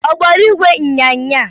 Ọ gbara ìgwè ịnyịnya?